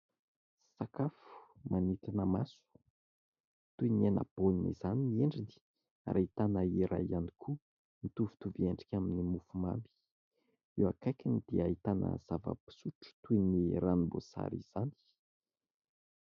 Sakafo manintona maso toy ny hena baolina izany ny endriny ary ahitana iray ihany koa mitovitovy endrika amin'ny mofo mamy. Eo akaikiny dia ahitana zava-pisotro toy ny ranomboasary izany.